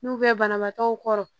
N'u bɛ banabaatɔw kɔrɔ